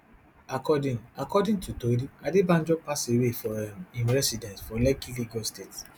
according according to tori adebanjo pass away for um im residence for lekki lagos state